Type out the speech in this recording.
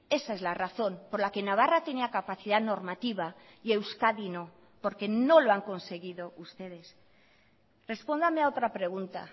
esa es la razón por la que navarra tenía capacidad normativa y euskadi no porque no lo han conseguido ustedes respóndame a otra pregunta